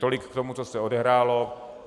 Tolik k tomu, co se odehrálo.